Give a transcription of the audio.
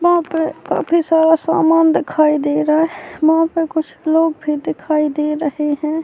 وہاں پی کافی سارا سامان دکھائی دے رہا ہے۔ وہاں پی کچھ لوگ بھی دکھائی دے رہے ہے۔